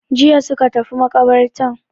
Jiya suka tafi maƙabartan.